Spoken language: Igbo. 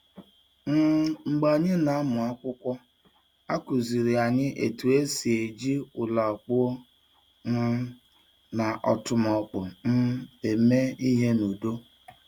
um Mgbe anyị na-amụ akwụkwọ, a kụziiri anyị otú e si eji ụla kpụọ um na ọ́tụmọkpọ um eme ihe n’udo.